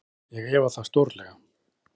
Já, ég efa það stórlega.